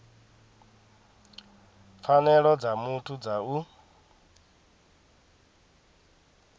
pfanelo dza muthu dza u